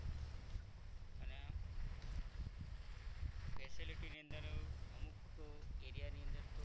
અને facilities ની અંદર અમુક area ની અંદર તો